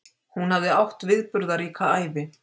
Hún hafði átt viðburðaríka ævi.